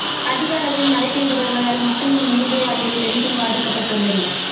அதிகளவில் மழை பெய்து வருவதால் மக்களின் இயல்பு வாழ்க்கை பெரிதும் பாதிக்கப்பட்டுள்ளது